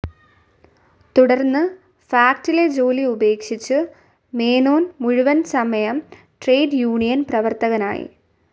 തുടർന്ന് ഫാക്ടിലെ ജോലി ഉപേക്ഷിച്ചു മേനോൻ മുഴുവൻസമയ ട്രേഡ്‌ യൂണിയൻ പ്രവർത്തകനായി.